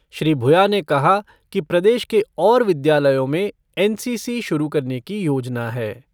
श्री भुया ने कहा कि प्रदेश के और विद्यालयों में एन सी सी शुरू करने की योजना है।